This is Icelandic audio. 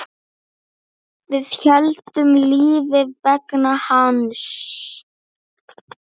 Við héldum lífi vegna hans.